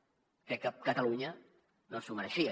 crec que catalunya no s’ho mereixia